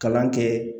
Kalan kɛ